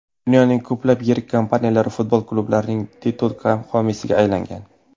Dunyoning ko‘plab yirik kompaniyalari futbol klublarining titul homiysiga aylangan.